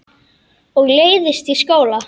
Og leiðist í skóla.